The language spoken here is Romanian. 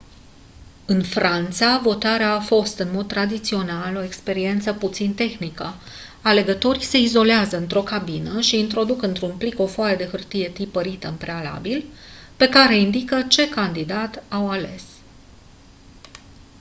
în franța votarea a fost în mod tradițional o experiență puțin tehnică alegătorii se izolează într-o cabină și introduc într-un plic o foaie de hârtie tipărită în prealabil pe care indică ce candidat au ales